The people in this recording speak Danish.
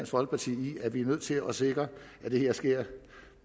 folkeparti i at vi er nødt til at sikre at det her sker